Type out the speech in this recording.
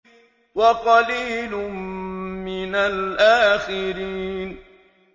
وَقَلِيلٌ مِّنَ الْآخِرِينَ